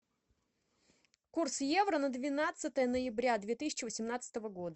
курс евро на двенадцатое ноября две тысячи восемнадцатого года